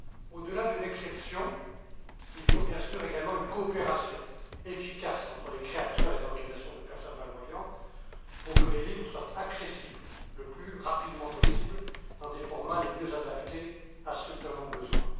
Au delà d'une exception, il faut bien sûr également une coopération efficace entre les créateurs et les organisations de personnes malvoyantes pour que les livres soient accessibles le plus rapidement possible dans des formats les mieux adaptés à ceux qui en ont besoin.